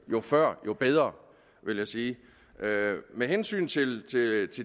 jo før jo bedre vil jeg sige med hensyn til